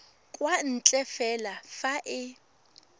kwa ntle fela fa e